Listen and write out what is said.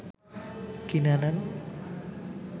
কিনে আনেন